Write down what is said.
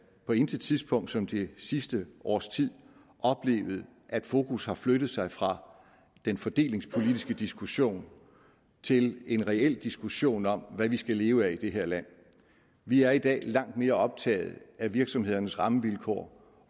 på intet tidspunkt som det sidste års tid oplevet at fokus har flyttet sig fra den fordelingspolitiske diskussion til en reel diskussion om hvad vi skal leve af i det her land vi er i dag langt mere optaget af virksomhedernes rammevilkår